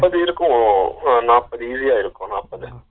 நாப்பது இருக்கும் அஹ நாப்பது யூரியா இருக்கும் நாப்பது